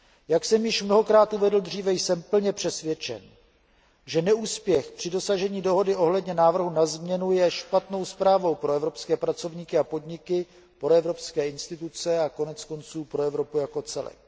Jak jsem již mnohokrát uvedl dříve, jsem plně přesvědčen, že neúspěch při dosažení dohody ohledně návrhu na změnu je špatnou zprávou pro evropské pracovníky a podniky, pro evropské instituce a konec konců pro Evropu jako celek.